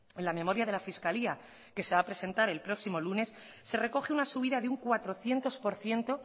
en la memoria de la fiscalía que se va a presentar el próximo lunes se recoge una subida de un cuatrocientos por ciento